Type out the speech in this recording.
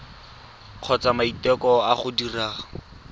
kgotsa maiteko a go dira